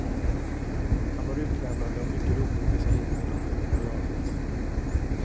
Han var utlämnande och mycket rolig i beskrivningen av det egna jaget.